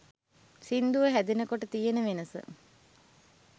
සිංදුව හැදෙන කොට තියෙන වෙනස